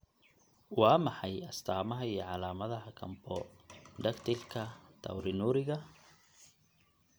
Waa maxay astamaha iyo calaamadaha Camptodactylka taurinuriga?